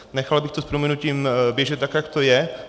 Nechal bych to s prominutím běžet tak, jak to je.